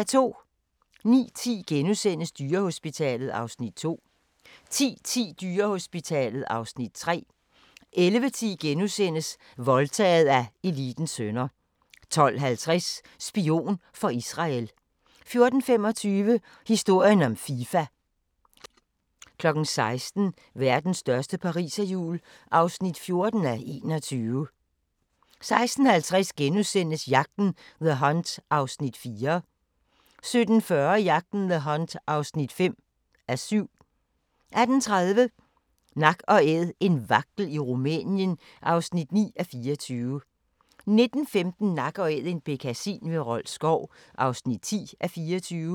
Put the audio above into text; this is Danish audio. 09:10: Dyrehospitalet (Afs. 2)* 10:10: Dyrehospitalet (Afs. 3) 11:10: Voldtaget af elitens sønner * 12:50: Spion for Israel 14:25: Historien om Fifa 16:00: Verdens største pariserhjul (14:21) 16:50: Jagten – The Hunt (4:7)* 17:40: Jagten – The Hunt (5:7) 18:30: Nak & Æd - en vagtel i Rumænien (9:24) 19:15: Nak & Æd – en bekkasin ved Rold Skov (10:24)